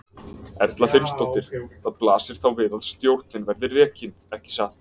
Erla Hlynsdóttir: Það blasir þá við að stjórnin verði rekin, ekki satt?